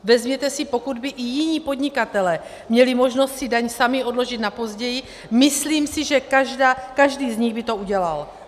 Vezměte si, pokud by i jiní podnikatelé měli možnost si daň sami odložit na později, myslím si, že každý z nich by to udělal.